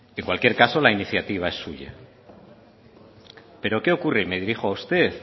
en cualquier caso la iniciativa es suya pero qué ocurre y me dirijo a usted